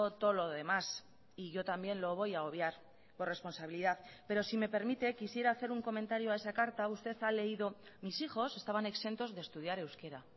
todo lo demás y yo también lo voy a obviar por responsabilidad pero si me permite quisiera hacer un comentario a esa carta usted ha leído mis hijos estaban exentos de estudiar euskera